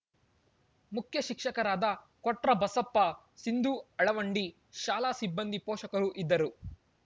ಮುಖ್ಯ ಶಿಕ್ಷಕರಾದ ಕೊಟ್ರಬಸಪ್ಪ ಸಿಂಧು ಅಳವಂಡಿ ಶಾಲಾ ಸಿಬ್ಬಂದಿ ಪೋಷಕರು ಇದ್ದರು